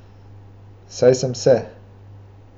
Saj sem se.